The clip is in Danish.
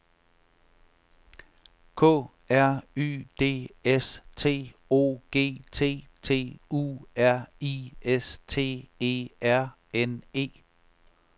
K R Y D S T O G T T U R I S T E R N E